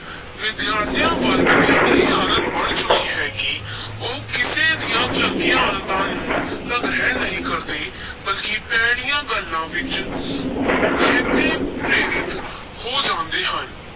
ਵਿਦਿਆਰਥੀਆਂ ਵਰਗ ਦੀ ਇਹ ਆਦਤ ਬਣ ਚੁੱਕੀ ਹੈ ਕਿ ਉਹ ਕਿਸੇ ਦੀਆਂ ਚੰਗੀਆਂ ਆਦਤਾਂ ਨੂੰ ਤਾਂ ਗ੍ਰਹਿਣ ਨਹੀਂ ਕਰਦੇ ਬਲਕਿ ਭੈੜੀਆਂ ਗੱਲਾਂ ਵਿੱਚ ਛੇਤੀ ਪ੍ਰੇਰਿਤ ਹੋ ਜਾਂਦੇ ਹਨ।